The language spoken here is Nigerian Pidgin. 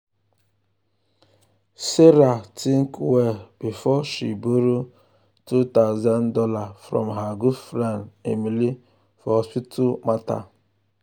sarah um think well um before she borrow two thousand dollars from her good friend emily for hospital matter.